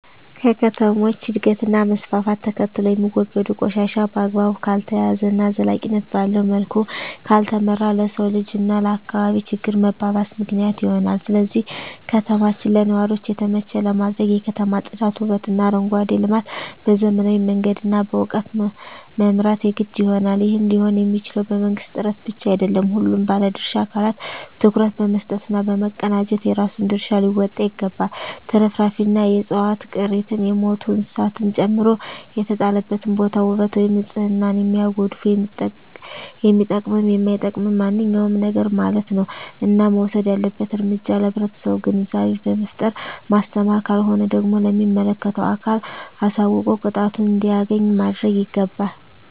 ከከተሞች እድገት እና መስፍፍት ተከትሎየሚወገዱ ቆሻሻ በአግባቡ ካልተያዘ እና ዘላቂነት ባለዉ መልኩ ካልተመራ ለሰዉ ልጅ እና ለአካባቢ ችግር መባባስ ምክንያት ይሆናል ስለዚህ ከተማችን ለነዋሪዎች የተመቸ ለማድረግ የከተማ ፅዳት ዉበትእና አረንጓዴ ልማት በዘመናዊ መንገድ እና በእዉቀት መምራት የግድ ይሆናል ይህም ሊሆንየሚችለዉ በመንግስት ጥረት ብቻ አይደለም ሁሉም ባለድርሻ አካላት ትኩረት በመስጠት እና በመቀናጀት የራሱን ድርሻ ሊወጣ ይገባል ትርፍራፊንእና የዕፅዋት ቅሪትን የሞቱ እንስሳትን ጨምሮ የተጣለበትን ቦታ ዉበት ወይም ንፅህናን የሚያጎድፍ የሚጠቅምም የማይጠቅምም ማንኛዉም ነገርማለት ነዉ እና መወሰድ ያለበት እርምጃ ለህብረተሰቡ ግንዛቤ በመፍጠር ማስተማር ካልሆነ ደግሞ ለሚመለከተዉ አካል አሳዉቆ ቅጣቱን እንዲያገኝ ማድረግይገባል